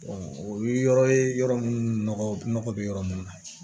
o ye yɔrɔ ye yɔrɔ minnu nɔgɔ bɛ yɔrɔ minnu na